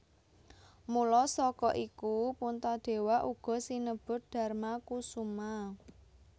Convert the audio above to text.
Mula saka iku Puntadewa uga sinebut Darmakusuma